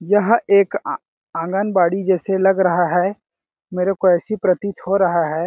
यहाँ एक अ आंगनबाड़ी जैसे लग रहा है मेरे को ऐसा प्रतीत हो रहा है।